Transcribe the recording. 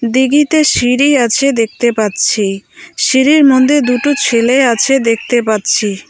দীঘিতে সিড়ি আছে দেখতে পাচ্ছি সিড়ির মধ্যে দুটো ছেলে আছে দেখতে পাচ্ছি।